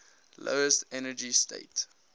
lowest energy state